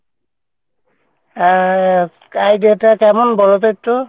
হ্যাঁ idea টা কেমন বলতো একটু?